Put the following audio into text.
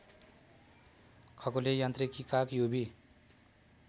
खगोलीय यान्त्रिकीका क्युबी